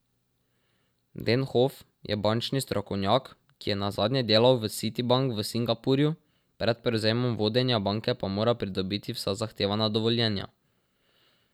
Denhof je bančni strokovnjak, ki je nazadnje delal v Citi bank v Singapurju, pred prevzemom vodenja banke pa mora pridobiti vsa zahtevana dovoljenja.